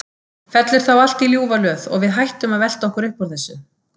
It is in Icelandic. Fellur þá allt í ljúfa löð og við hættum að velta okkur upp úr þessu?